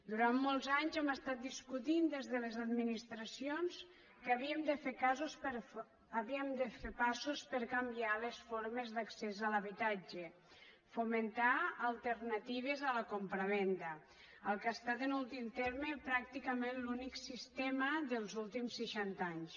durant molts anys hem estat discutint des de les administracions que havíem de fer passos per canviar les formes d’accés a l’habitatge fomentar alternatives a la compravenda el que ha estat en últim terme pràcticament l’únic sistema dels últims seixanta anys